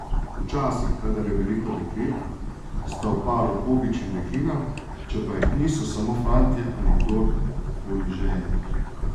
Včasih, kadar je veliko deklet, sta v paru pobič in deklina, če pa jih ni, so samo fantje ali kdor koli že je.